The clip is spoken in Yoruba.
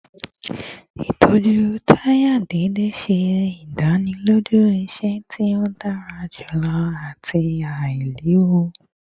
Itọju taya deede ṣe idaniloju iṣẹ ti o dara julọ ati ailewu